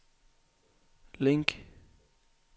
link